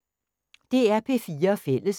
DR P4 Fælles